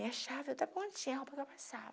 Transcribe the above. E a chave, a roupa está passava.